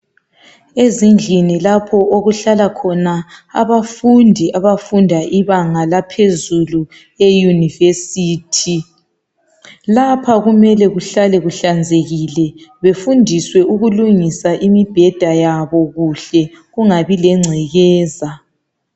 ezindlini lapho okuhlala khona abafundi abafunda ibanga laphezulu le university lapha kumele kuhlale kuhlanzekile befundiswe ukulugisa imibheda yabo kuhle kungabi lencekeza